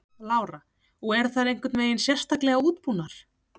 Lára: Og eru þær einhvern veginn sérstaklega útbúnar?